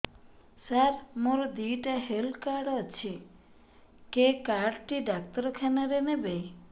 ସାର ମୋର ଦିଇଟା health card ଅଛି କେ କାର୍ଡ ଟି ଡାକ୍ତରଖାନା ରେ ନେବେ